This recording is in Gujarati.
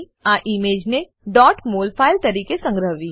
અને ઈમેજને mol ફાઈલ તરીકે સંગ્રહવી